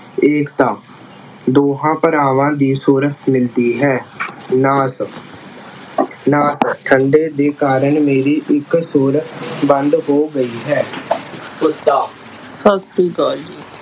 ਏਕਤਾ, ਦੋਹਾਂ ਭਰਾਵਾਂ ਦੀ ਸੁਰ ਮਿਲਦੀ ਹੈ ਨਾਸ ਅਹ ਨਾਸ ਠੰਡੇ ਦੇ ਕਾਰਨ ਮੇਰੀ ਇੱਕ ਸੁਰ ਬੰਦ ਹੋ ਗਈ ਹੈ ਸੁੱਤਾ